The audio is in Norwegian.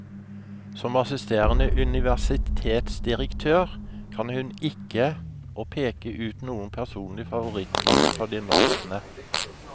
Som assisterende universitetsdirektør kan hun ikke å peke ut noen personlig favoritt blant kandidatene.